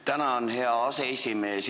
Tänan, hea aseesimees!